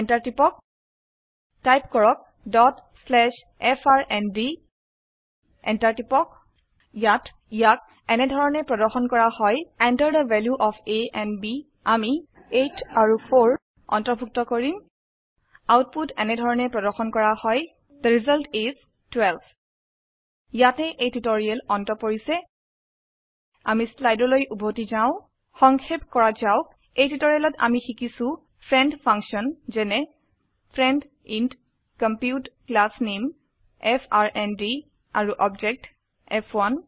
Enter টিপক type কৰকdot slash FRND Enter টিপক ইয়াত ইয়াক এনেধৰনে প্ৰদৰ্শন কৰা হয় Enter the value of a and b আমি 8 আৰু 4 আন্তৰ্ভুত্ত কৰিম আউটপুট এনেধৰনে প্ৰদৰ্শন কৰা হয় থে ৰিজাল্ট is 12 ইয়াতে এই টিউটোৰিয়েল অন্ত পৰিছে আমি স্লাইডৰলৈ উভতি যাও সংক্ষেপ কৰা যাওক এই টিউটোৰিয়েলত আমি শিকিছো ফ্ৰেণ্ড ফাংচন যেনে ফ্ৰেণ্ড ইণ্ট কম্পিউট ক্লাছ নামে এফআৰএনডি আৰু অবজেক্ট ফ1